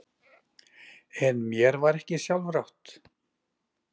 En mér var ekki sjálfrátt.